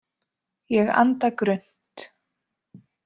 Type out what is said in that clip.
Ég anda grunnt.